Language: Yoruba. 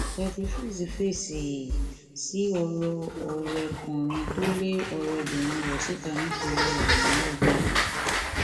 daddy freeze fèsì sí ọrọ ọrẹkùnrin tó lé ọrẹbìnrin rẹ síta nítorí àìníwá